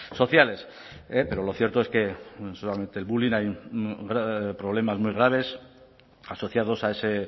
sociales pero lo cierto es que no solamente el bullying hay problemas muy graves asociados a ese